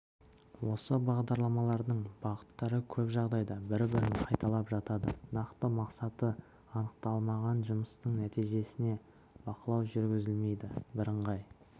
осы бағдарламалардың бағыттары көп жағдайда бір-бірін қайталап жатады нақты мақсаты анықталмаған жұмыстың нәтижесіне бақылау жүргізілмейді бірыңғай